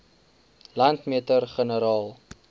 landmeter generaal